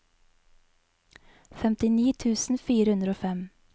femtini tusen fire hundre og fem